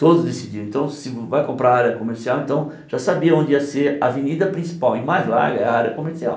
Todos decidiram, então se vai comprar área comercial, então já sabia onde ia ser avenida principal e mais larga a área comercial.